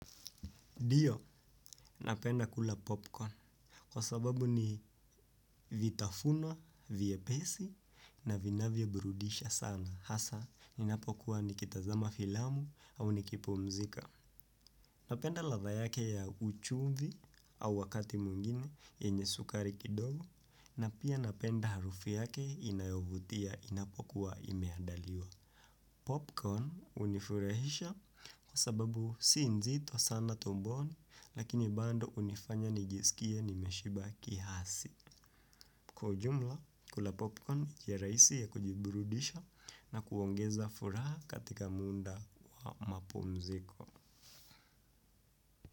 Dio, napenda kula popcorn, kwa sababu ni vitafuna, vyepesi, na vinavyeburudisha sana, hasa, ninapokuwa nikitazama filamu au nikipumzika. Napenda ladha yake ya uchumvi au wakati mwingine, yenye sukari kidogo, na pia napenda harufu yake inayovutia, inapokuwa imeadaliwa. Popcorn unifurahisha kwa sababu si nzito sana tumboni lakini bando unifanya nijisikie nimeshiba kihasi. Kwa ujumla, kula popcorn ni njia raisi ya kujiburudisha na kuongeza furaha katika munda wa mapumziko.